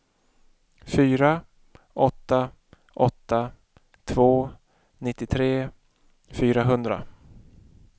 fyra åtta åtta två nittiotre fyrahundra